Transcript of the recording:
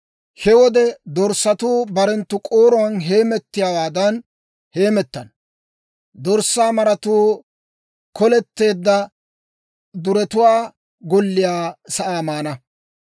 He wode dorssatuu barenttu k'ooruwaan heemettiyaawaadan heemettana; dorssaa maratuu koletteedda duretuwaa golliyaa sa'aa maana.